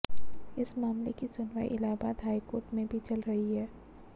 इस मामले की सुनवाई इलाहाबाद हाई कोर्ट में भी चल रही है